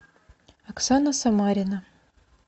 оксана самарина